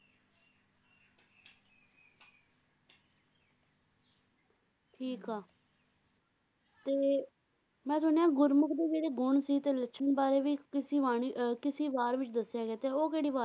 ਠੀਕ ਆ ਤੇ ਮੈ ਸੁਣਿਆ ਗੁਰਮੁਖ ਦੇ ਜਿਹੜੇ ਗੁਣ ਸੀ ਤੇ ਲੱਛਣ ਬਾਰੇ ਵੀ ਕਿਸੀ ਬਾਣੀ ਅਹ ਕਿਸੀ ਵਾਰ ਵਿਚ ਦੱਸਿਆ ਗਿਆ ਤੇ ਉਹ ਕਿਹੜੀ ਵਾਰ